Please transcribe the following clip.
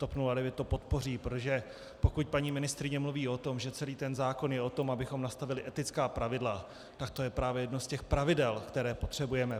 TOP 09 to podpoří, protože pokud paní ministryně mluví o tom, že celý ten zákon je o tom, abychom nastavili etická pravidla, tak to je právě jedno z těch pravidel, které potřebujeme.